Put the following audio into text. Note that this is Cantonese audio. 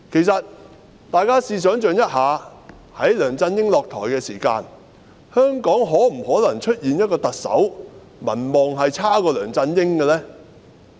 大家想象一下，在梁振英下台時，大家當時認為香港是否可能出現一個特首的民望比梁振英還要低的呢？